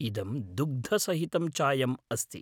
इदं दुग्धसहितं चायम् अस्ति।